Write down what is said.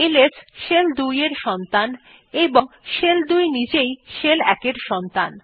LS shell ২ এর সন্তান এবং শেল ২ নিজেই শেল ১ এর সন্তান